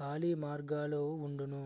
ఖాళి మార్గాలు వుండును